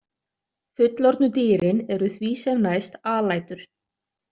Fullorðnu dýrin eru því sem næst alætur.